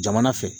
Jamana fɛ